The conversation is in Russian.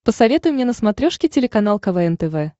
посоветуй мне на смотрешке телеканал квн тв